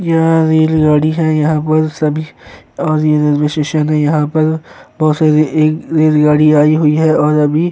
यह रेलगाड़ी है। यहां पर सभी और रेलवे स्टेशन है। यहां पर बोहोत सारी रेलगाड़ी आई हुई हैं और अभी --